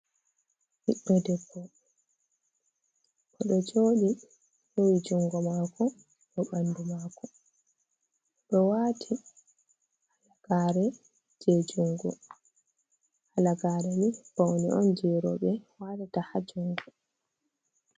Ɓiɗɗo debbo o ɗo joɗi hewi jungo mako bo ɓandu mako do wati halagare je jungo halagare mai paune on je roɓe watata ha jungo.